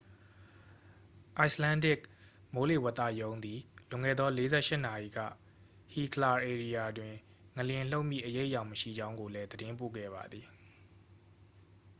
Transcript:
icelandic မိုးလေဝသရုံးသည် လွန်ခဲ့သော 48 နာရီက hekla ဧရိယာတွင် ငလျင်လှုပ်မည့်အရိပ်အယောင်မရှိကြောင်းကိုလည်း သတင်းပို့ခဲ့ပါသည်